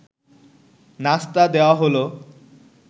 নাশতা দেওয়া হলো